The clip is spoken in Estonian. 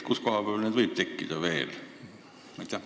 Kus kohas neid veel tekkida võib?